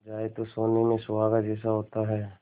जाए तो सोने में सुहागा जैसा होता है